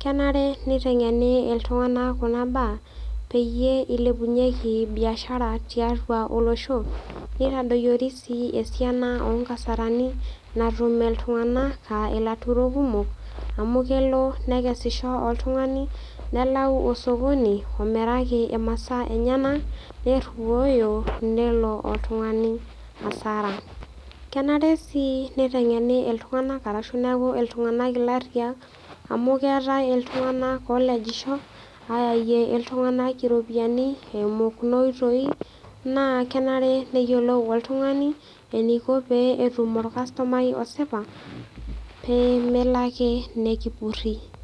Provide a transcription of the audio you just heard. Kenare neiteng'eni iltung'anak kuna baa peyie eilepunyeki biashara tiatua olosho neitadoyori sii esiana oonkasarani natum iltung'anak [aa] ilaturok kumok amu kelo nekesisho oltung'ani nelau osokoni omiraki imasaa enyena nerruoyo nelo oltungani hasara. Kenare sii neiteng'eni iltung'anak arashu neaku iltung'anak illarriyak amu keetai iltung'anak olejisho ayayie iltung'anak iropiani eimu kunoitoi naa kenare neyiolou oltung'ani eneiko pee etum olkastomai osipa pee melo ake nekipurri.